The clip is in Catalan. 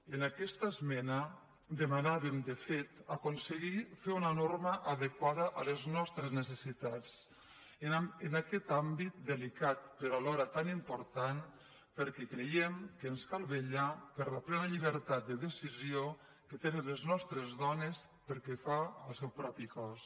en aquesta esmena demanàvem de fet aconseguir fer una norma adequada a les nostres necessitats en aquest àmbit delicat però alhora tan important perquè creiem que ens cal vetllar per la plena llibertat de decisió que tenen les nostres dones pel que fa al seu propi cos